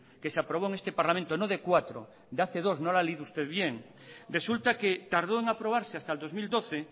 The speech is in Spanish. que se aprobó en este parlamento no de cuatro de hace dos no lo ha leído usted bien resulta que tardo en aprobarse hasta el dos mil doce